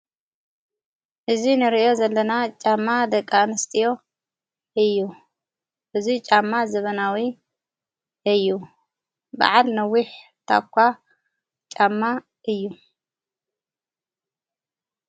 እዙይ ንርእዮ ዘለና ጫማ ደቃ ን ስጢዮ እዩ እዙይ ጫማ ዝበናዊ እዩ በዓል ነዊሕ ታኳ ጫማ እዩ።